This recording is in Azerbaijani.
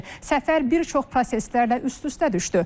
Səfər bir çox proseslərlə üst-üstə düşdü.